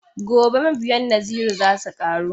Gobe mabiyan Naziru za su ƙaru.